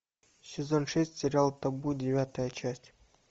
сезон шесть сериал табу девятая часть